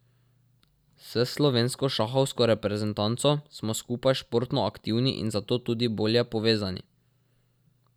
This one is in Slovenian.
S slovensko šahovsko reprezentanco smo skupaj športno aktivni in zato tudi bolje povezani.